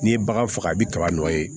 N'i ye bagan faga i bɛ kaba dɔ ye